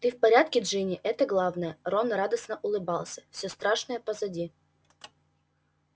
ты в порядке джинни это главное рон радостно улыбался всё страшное позади